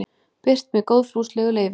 birt með góðfúslegu leyfi